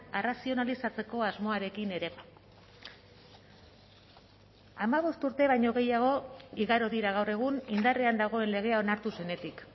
arrazionalizatzeko asmoarekin ere hamabost urte baino gehiago igaro dira gaur egun indarrean dagoen legea onartu zenetik